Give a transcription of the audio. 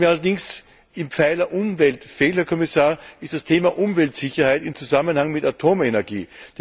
Was mir allerdings im Pfeiler Umwelt fehlt, Herr Kommissar, ist das Thema Umweltsicherheit in Zusammenhang mit der Atomenergie.